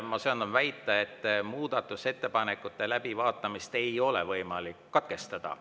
Ma söandan väita, et muudatusettepanekute läbivaatamist ei ole võimalik katkestada.